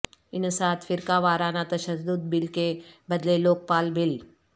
انسداد فرقہ وارنہ تشدد بل کے بدلے لوک پال بل